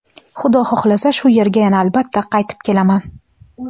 Xudo xohlasa shu yerga yana albatta qaytib kelaman.